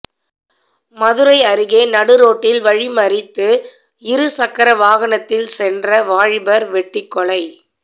மதுரை அருகே நடுரோட்டில் வழிமறித்து இரு சக்கர வாகனத்தில் சென்ற வாலிபர் வெட்டிக்கொலை